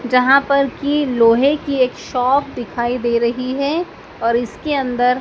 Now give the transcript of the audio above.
जहां पर की लोहे की एक शॉप दिखाई दे रही है और इसके अंदर--